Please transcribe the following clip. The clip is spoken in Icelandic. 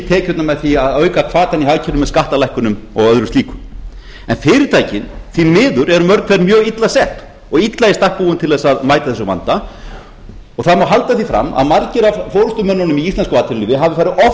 tekjurnar með því að auka hvatann í hagkerfinumeð skattalækkunum og öðru slíku fyrirtækin eru því miður mörg hver mjög illa sett og illa í stakk búin til þess að mæta þessum vanda það má halda því fram að margir af forustumönnunum í íslensku atvinnulífi hafi farið offari